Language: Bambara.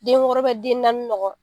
Den wɔɔrɔ den naani ɲɔgɔn.